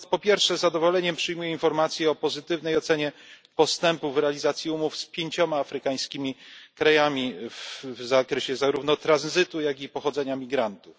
Stąd po pierwsze, z zadowoleniem przyjmuję informacje o pozytywnej ocenie postępu w realizacji umów z 5 afrykańskimi krajami w zakresie zarówno tranzytu, jak i pochodzenia migrantów.